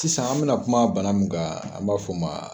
Sisan an bɛna kuma bana min kan an b'a fɔ o ma